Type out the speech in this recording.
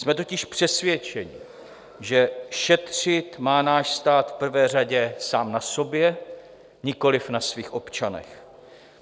Jsme totiž přesvědčeni, že šetřit má náš stát v prvé řadě sám na sobě, nikoliv na svých občanech.